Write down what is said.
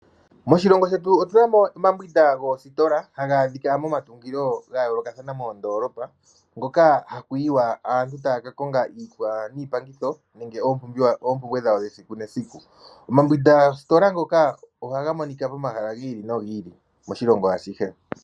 Moshilongo shetu otunamo omambwinda goositola hadhi adhika momatungilo gayoolokathana moondolopa , hoka haku yiwa aantu taya ka kongo iikwawo niipangitho nenge oompumbwe dhawo dhesiku nesiku. Omambwinda goositola ndhoka ohaga monika momahala giili nogili moshilongo ashihe.